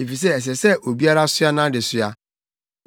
efisɛ ɛsɛ sɛ obiara soa nʼadesoa.